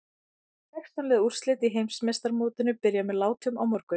Sextán liða úrslitin í Heimsmeistaramótinu byrja með látum á morgun.